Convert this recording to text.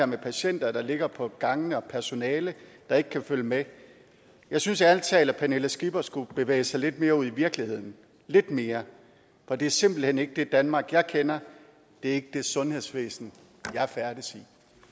med patienter der ligger på gangene og et personale der ikke kan følge med jeg synes ærlig talt at fru pernille skipper skulle bevæge sig lidt mere ud i virkeligheden lidt mere for det er simpelt hen ikke det danmark jeg kender det er ikke det sundhedsvæsen jeg færdes